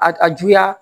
A a juguya